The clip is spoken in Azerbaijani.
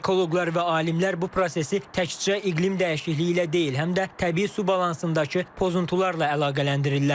Ekoloqlar və alimlər bu prosesi təkcə iqlim dəyişikliyi ilə deyil, həm də təbii su balansındakı pozuntularla əlaqələndirirlər.